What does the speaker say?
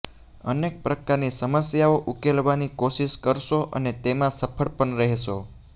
અનેક પ્રકારની સમસ્યાઓ ઉકેલવાની કોશિશ કરશો અને તેમા સફળ પણ રહેશો